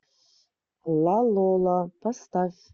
лалола поставь